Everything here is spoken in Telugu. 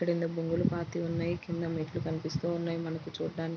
ఇక్కడ రెండు మువ్వలు పపతి ఉన్నాయి. కింద మెట్లు కనిపిస్తున్నాయి మనకి చూడటానికి.